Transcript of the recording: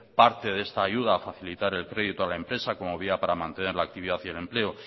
parte de esta ayuda a facilitar el crédito a la empresa como vía para mantener la actividad y el empleo